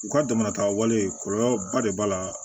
U ka dama tagalen kɔlɔlɔba de b'a la